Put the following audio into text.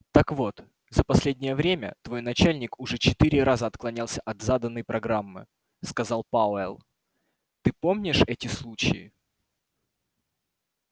так вот за последнее время твой начальник уже четыре раза отклонялся от заданной программы сказал пауэлл ты помнишь эти случаи